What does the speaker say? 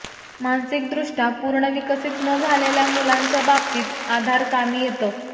मानसिकदृष्ट्या पूर्णविकसित न झालेल्या मुलांच्या बाबतीत आधार कामी येतं